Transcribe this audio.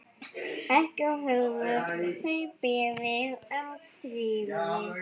Ekki höfðu þeir beðið um stríðið.